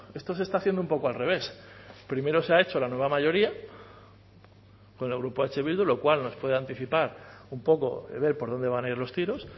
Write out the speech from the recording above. esto se está haciendo un poco al revés primero se ha hecho la nueva mayoría con el grupo eh bildu lo cual nos puede anticipar un poco ver por dónde van a ir los tiros